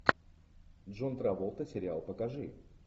джон траволта сериал покажи